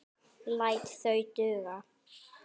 Læt það duga.